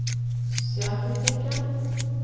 sosialpolitikken